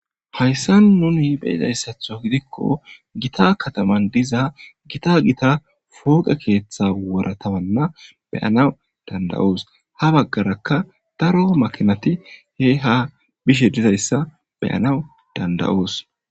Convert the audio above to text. hayssa nuni hibheyidayssatho gidikko gita kataman diza gita gita fooqe keeththa woratawanna beyanaw danda7os ha baggaraka daro makinati he ha bishe dizayssa beyanaw danda7os